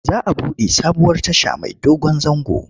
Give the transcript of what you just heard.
Za a buɗe sabuwar tasha mai dogon zango.